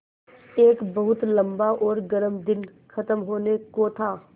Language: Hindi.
एक बहुत लम्बा और गर्म दिन ख़त्म होने को था